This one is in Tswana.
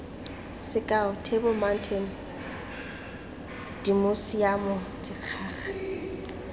sekao table mountain dimosiamo dikgaga